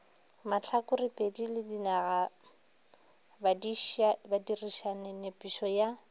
mahlakorepedi le dinagabadirišani nepišo ya